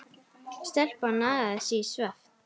Stelpan nagaði sig í svefn.